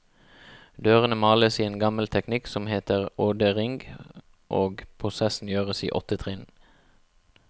Dørene males i en gammel teknikk som heter ådering, og prosessen gjøres i åtte trinn.